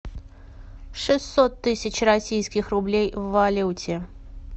шестьсот тысяч российских рублей в валюте